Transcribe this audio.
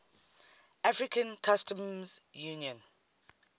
african customs union